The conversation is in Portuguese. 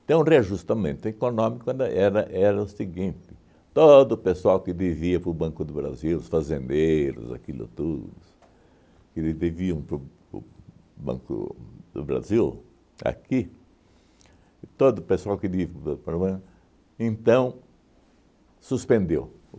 Então o reajustamento econômico era era era o seguinte, todo o pessoal que devia para o Banco do Brasil, os fazendeiros, aquilo tudo, que eles deviam para o o Banco do Brasil, aqui, e todo o pessoal que, então suspendeu.